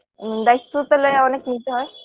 হুম দায়িত্ব তালে অনেক নিতে হয়